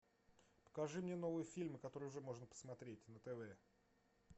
покажи мне новые фильмы которые уже можно посмотреть на тв